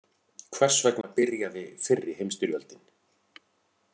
Hvers vegna byrjaði fyrri heimstyrjöldin?